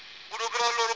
ba ba go gweba ka